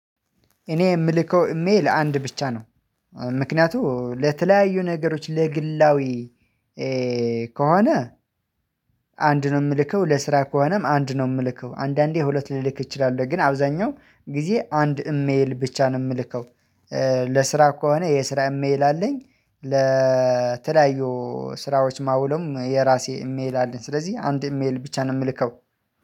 እኔ የምልከው እሜ ለአንድ ብቻ ነው። ምክንያቱም ለተለያዩ ነገሮች ለግላዊ ከሆነ አንድ ነው የምልከው ለስራ ከሆነም አንድ ነው የምልከው አንዳንዴ ሁለት ልልክ እችላለሁ ግን አብዛኛው ጊዜ አንድ እሜል ብቻ ነው የምልከው። ለስራ ከሆነ የስራ እሜል አለኝ ለተለያዩ ስራዎች ማውለም የራሴ ኢሜል አለኝ። ስለዚህ አንድ ኢሜል ብቻ ነው የምልከው።